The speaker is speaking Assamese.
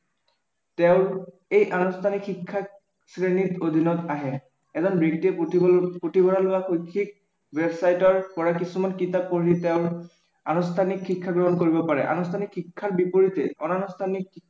তেওঁৰ এই আনুষ্ঠানিক শিক্ষাৰ শ্ৰেণীৰ অধীনত আহে এজন ব্য়ক্তিয়ে পুথিভৰালৰ বা শৈক্ষিক ৱেবছাইটৰ পৰা কিছুমান কিতাপ পঢ়ি তেওঁৰ আনুষ্ঠানিক শিক্ষা গ্ৰহণ কৰিব পাৰে। আনুষ্ঠানিক শিক্ষাৰ বিপৰীতে অনানুষ্ঠানিক